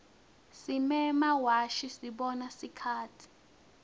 simemawashi sibona sikhatsi